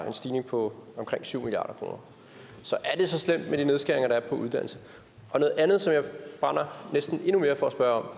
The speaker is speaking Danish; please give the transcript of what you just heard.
en stigning på omkring syv milliard kroner så er det så slemt med de nedskæringer der er på uddannelse noget andet som jeg brænder næsten endnu mere for at spørge